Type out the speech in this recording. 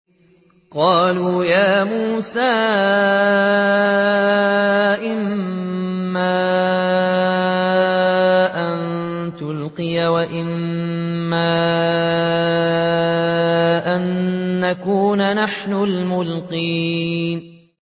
قَالُوا يَا مُوسَىٰ إِمَّا أَن تُلْقِيَ وَإِمَّا أَن نَّكُونَ نَحْنُ الْمُلْقِينَ